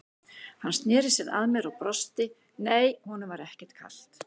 Hann sneri sér að mér og brosti, nei, honum var ekkert kalt.